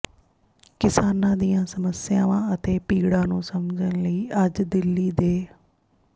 ਕਿਸਾਨਾਂ ਦੀਆਂ ਸਮੱਸਿਆਵਾਂ ਅਤੇ ਪੀੜਾ ਨੂੰ ਸਮਝਣ ਲਈ ਅੱਜ ਦਿੱਲੀ ਦੇ